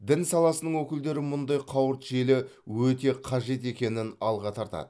дін саласының өкілдері мұндай қауырт желі өте қажет екенін алға тартады